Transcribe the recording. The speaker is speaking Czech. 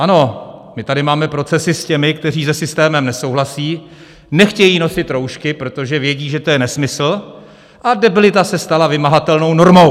Ano, my tady máme procesy s těmi, kteří se systémem nesouhlasí, nechtějí nosit roušky, protože vědí, že to je nesmysl, a debilita se stala vymahatelnou normou!